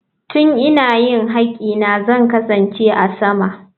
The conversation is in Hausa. Tun ina yin haƙƙina zan kasance a sama.